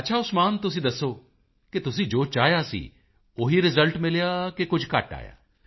ਅੱਛਾ ਉਸਮਾਨ ਤੁਸੀਂ ਦੱਸੋ ਕਿ ਤੁਸੀਂ ਜੋ ਚਾਹਿਆ ਸੀ ਉਹੀ ਰਿਜ਼ਲਟ ਮਿਲਿਆ ਕਿ ਕੁਝ ਘੱਟ ਆਇਆ